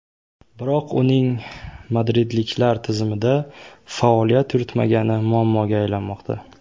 Biroq uning madridliklar tizimida faoliyat yuritmagani muammoga aylanmoqda.